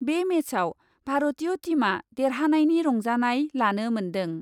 बे मेचआव भारतीय टीमआ देरहानायनि रंजानाय लानो मोन्दों ।